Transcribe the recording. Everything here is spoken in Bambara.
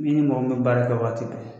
N'i ni mɔgɔ min bɛ baara kɛ waati bɛɛ